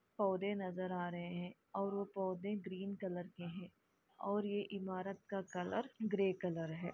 पौधे नजर आ रहे है और वो पौधे ग्रीन कलर के है और ये इमारत का कलर ग्रे कलर है।